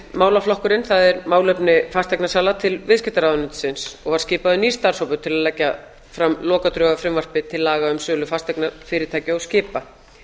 málaflokkurinn það er málefni fasteignasala til viðskiptaráðuneytisins og var skipaður nýr starfshópur til að leggja fram lokadrög að frumvarpi til laga um sölu fasteigna fyrirtækja og skipa